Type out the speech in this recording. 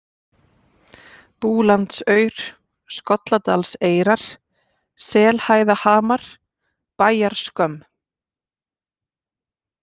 Búlandsaur, Skolladalseyrar, Selhæðahamar, Bæjarskömm